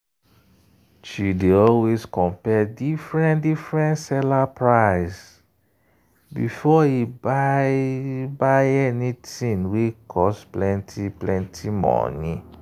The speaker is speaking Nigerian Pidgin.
she dey always compare different-different seller price before e buy any thing wey cost plenty money.